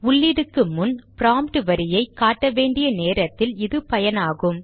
உள்ளீடுக்கு முன் ப்ராம்ட் வரியை காட்ட வேண்டிய நேரத்தில் இது பயனாகும்